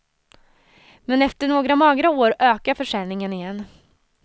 Men efter några magra år ökar försäljningen igen.